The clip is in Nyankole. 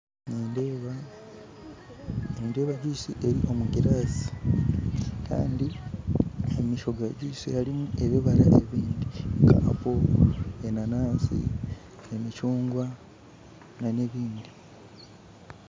Nindeeba juyisi eri omu giraasi Kandi omumaisho ga juyisi harimu ebibara ebindi nka apo, enanansi emicungwa n'ebindi.